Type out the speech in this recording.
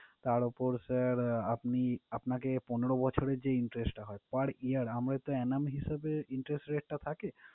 তার উপর sir আপনি, আপনাকে পনেরো বছরের যেই interest টা হয় per year আমরা তো annum হিসেবে interest rate টা থাকে,